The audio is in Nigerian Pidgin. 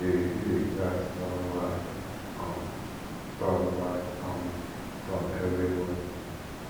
we dey refill di gas turn by um turn by um turn every month